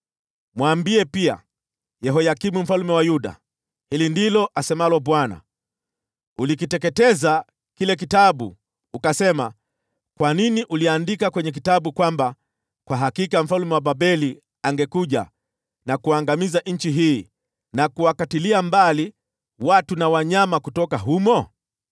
Mwambie pia Yehoyakimu mfalme wa Yuda, ‘Hili ndilo asemalo Bwana : Ulikiteketeza kile kitabu ukasema, “Kwa nini uliandika kwenye kitabu kwamba kwa hakika mfalme wa Babeli angekuja na kuangamiza nchi hii, na kuwakatilia mbali watu na wanyama kutoka humo?”